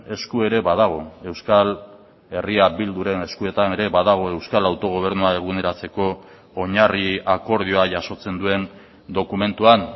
esku ere badago euskal herria bilduren eskuetan ere badago euskal autogobernua eguneratzeko oinarri akordioa jasotzen duen dokumentuan